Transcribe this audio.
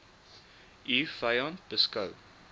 u vyand beskou